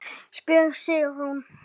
spyr Sigrún.